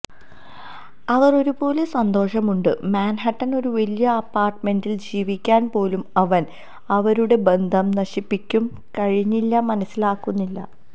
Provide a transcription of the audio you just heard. അവർ ഒരുപോലെ സന്തോഷമുണ്ട് മാൻഹട്ടൻ ഒരു വലിയ അപ്പാർട്ട്മെന്റിൽ ജീവിക്കാൻ പോലും അവൻ അവരുടെ ബന്ധം നശിപ്പിക്കും കഴിഞ്ഞില്ല മനസ്സിലാക്കുന്നില്ല